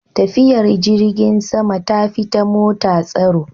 Tafiyar jirgin sama tafi ta mota tsaro.